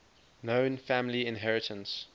known family inheritance